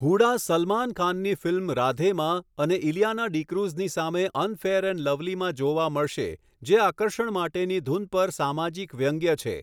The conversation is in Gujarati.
હુડા સલમાન ખાનની ફિલ્મ 'રાધે'માં અને ઇલિયાના ડીક્રૂઝની સામે 'અનફેયર એન્ડ લવલી'માં જોવા મળશે જે આકર્ષણ માટેની ધૂન પર સામાજિક વ્યંગ્ય છે.